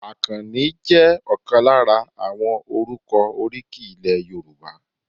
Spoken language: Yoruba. Akanni jẹ́ ọ̀kan lára àwọn orúkọ oríkì ilẹ̀ Yorùbá.